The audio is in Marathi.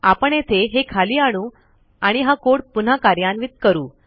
आपण येथे हे खाली आणू आणि हा कोड पुन्हा कार्यान्वित करू